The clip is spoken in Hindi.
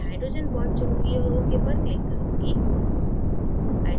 मैं hydrogen bondचुनुगीं और okपर click करुँगी